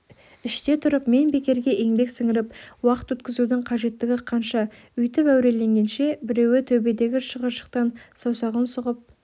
іште тұрып мен бекерге еңбек сіңіріп уақыт өткізудің қажеттігі қанша өйтіп әуреленгенше біреуі төбедегі шығыршықтан саусағын сұғып